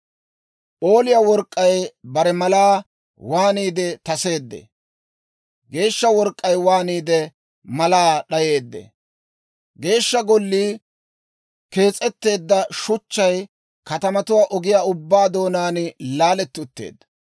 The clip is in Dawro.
P'ooliyaa work'k'ay bare malaa waaniide taseeddee. Geeshsha work'k'ay waaniide malaa d'ayeedde. Geeshsha Gollii kees'etteedda shuchchay katamatuwaa ogiyaa ubbaa doonaan laaletti utteedda.